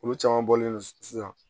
Olu caman bɔlen don sisan